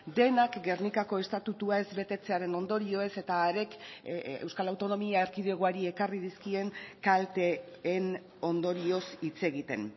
denak gernikako estatutua ez betetzearen ondorioez eta harek euskal autonomia erkidegoari ekarri dizkien kalteen ondorioz hitz egiten